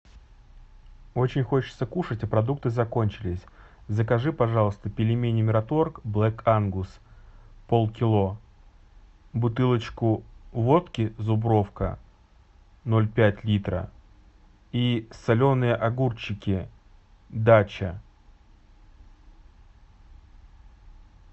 очень хочется кушать а продукты закончились закажи пожалуйста пельмени мираторг блэк ангус полкило бутылочку водки зубровка ноль пять литра и соленые огурчики дача